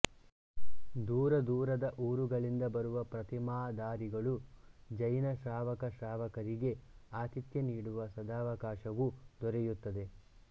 ದೂರದೂರದ ಊರುಗಳಿಂದ ಬರುವ ಪ್ರತಿಮಾಧಾರಿಗಳು ಜೈನ ಶ್ರಾವಕಶ್ರಾವಕರಿಗೆ ಆತಿಥ್ಯ ನೀಡುವ ಸದಾವಕಾಶವೂ ದೊರೆಯುತ್ತದೆ